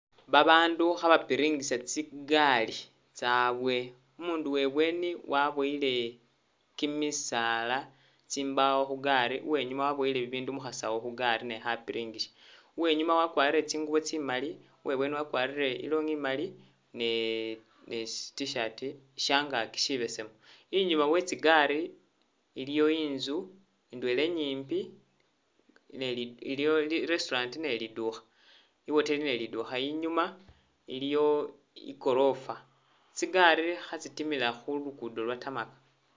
Ba bandu kha bapiringisa tsi gali tsabwe, umundu webweni wabuwele kyimisaala tsimbawo khu gaali, uwe nyuma wabuwele ibindu mu khasawu khu gaali naye kha piringisa, uwenyuma wakwarire tsingubo tsimali,u we bweni wakwarire ilonghi imali ne- ne- i T'shirt shyangakyi shibesemu, inyuma we tsigali iliyo inzu ndwela inyipi, iliyo i restaurant ne lidukha- iwoteli ne lidukha inyuma iliyo igorofa, tsi gali khe tsitimila khu lugudo lwa tarmach